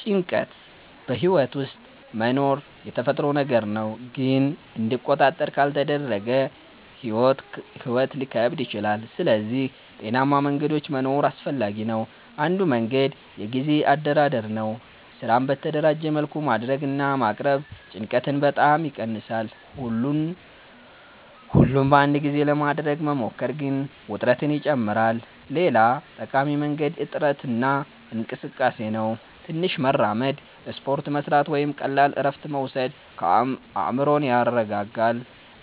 ጭንቀት በሕይወት ውስጥ መኖሩ የተፈጥሮ ነገር ነው፣ ግን እንዲቆጣጠር ካልተደረገ ሕይወት ሊከብድ ይችላል። ስለዚህ ጤናማ መንገዶች መኖር አስፈላጊ ነው። አንዱ መንገድ የጊዜ አደራደር ነው። ስራን በተደራጀ መልኩ ማድረግ እና ማቅረብ ጭንቀትን በጣም ይቀንሳል። ሁሉን በአንድ ጊዜ ለማድረግ መሞከር ግን ውጥረትን ይጨምራል። ሌላ ጠቃሚ መንገድ እረፍት እና እንቅስቃሴ ነው። ትንሽ መራመድ፣ ስፖርት መስራት ወይም ቀላል እረፍት መውሰድ አእምሮን ያረጋጋል።